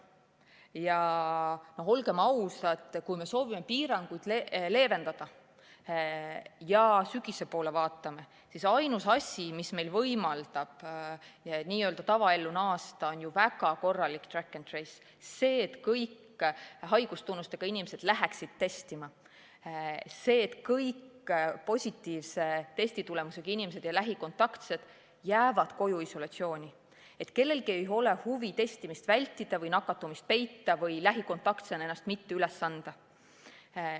Ja olgem ausad, kui me soovime piiranguid leevendada ja sügise poole vaatame, siis ainus asi, mis meil võimaldab tavaellu naasta, on väga korralik track and trace: see, et kõik haigustunnustega inimesed läheksid testima, see, et kõik positiivse testitulemusega inimesed ja lähikontaktsed jääksid koju isolatsiooni, see, et kellelgi ei oleks huvi testimist vältida või nakatumist peita või lähikontaktsena ennast mitte üles anda.